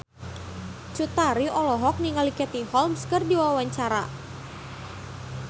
Cut Tari olohok ningali Katie Holmes keur diwawancara